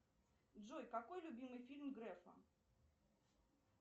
джой какой любимый фильм грефа